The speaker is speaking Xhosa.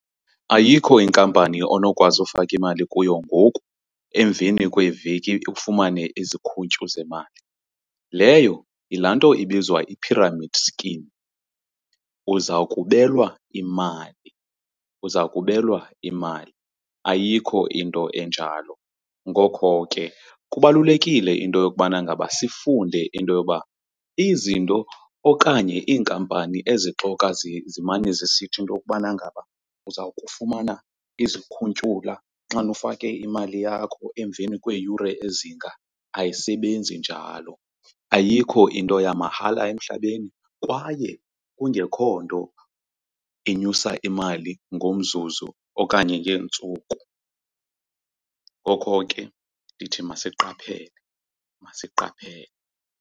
Ayikho inkampani onokwazi ufaka imali kuyo ngoku emveni kweeveki ufumane izikhuntyu zemali, leyo yilaa nto ibizwa i-pyramid scheme. Uza kubelwa imali, uza kubelwa imali, ayikho into enjalo. Ngokho ke kubalulekile into yokubana ngaba sifunde into yoba izinto okanye iinkampani ezixoka zimane zisithi into yokubana ngaba uza ukufumana izikhuntyula xana ufake imali yakho emveni kweeyure ezinga, ayisebenzi njalo. Ayikho into yamahala emhlabeni kwaye kungekho nto enyusa imali ngomzuzu okanye ngeentsuku. Ngokho ke ndithi masiqaphele, masiqaphele.